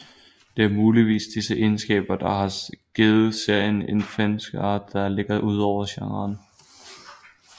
Det er muligvis disse egenskaber der har givet serien en fanskare der ligger udover genren